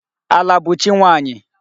Ala bụ chi nwaanyị.